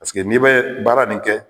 n'i bɛ baara nin kɛ